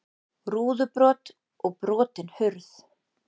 Rúðubrot og brotin hurð